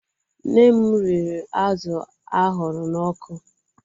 Nne m riri azụ ahụrụ n'ọkụ.